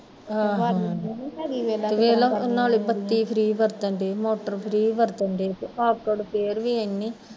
ਤੇ ਵੇਖਲਾ ਨਾਲੇ ਬੱਤੀ free ਵਰਤਣ ਡਏ, ਮੋਟਰ free ਵਰਤਣ ਡਏ ਤੇ ਆਕੜ ਫੇਰ ਵੀ ਏਨੀ